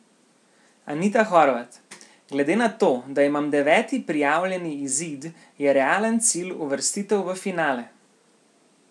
Anita Horvat: "Glede na to, da imam deveti prijavljeni izid, je realen cilj uvrstitev v finale.